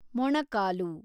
ಮೊಣಕಾಲು